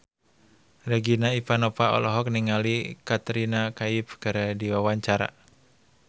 Regina Ivanova olohok ningali Katrina Kaif keur diwawancara